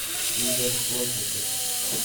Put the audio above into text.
игорь плотников